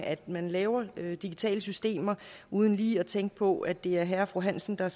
at man laver digitale systemer uden lige at tænke på at det også er herre og fru hansen der